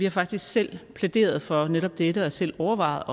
har faktisk selv plæderet for netop dette og selv overvejet